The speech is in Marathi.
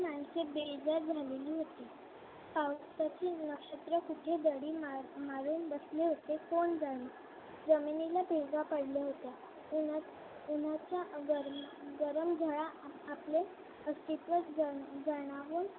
पावसाची नक्षत्र कुठे दडी मारून बसले होते कोण जाणे जमिनीला भेगा पडल्या होत्या उन्हाच्या गरम झळा आपले अस्तित्व